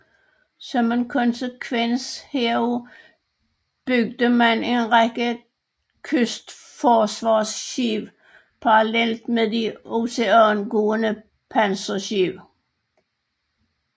Som en konsekvens heraf byggede man en række kystforsvarsskibe parallelt med de oceangående panserskibe